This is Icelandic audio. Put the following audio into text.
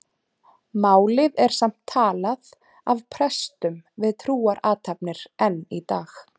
Málið er samt talað af prestum við trúarathafnir enn í dag.